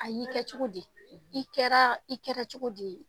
A y'i kɛ cogo di i kɛra i kɛra cogo di yen